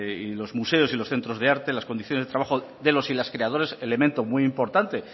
y los museos y los centros de arte las condiciones de trabajo de los y las creadores elemento muy importante